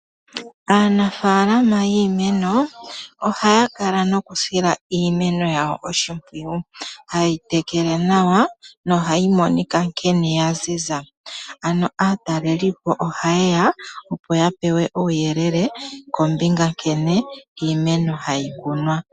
Aanafalama yiimeno ohaya kala nokudila iimenonyawo oshimpwiyu haye yotekele nawa nohayi monika nkene yaziza ano aatalelipo oha yeya yape uuyelele kombinga nkene iimeno hayi kunwa.